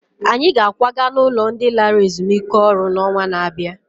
Anyị ga-akwaga n'ụlọ ndị lara ezumike ọrụ n'ọnwa na-abịa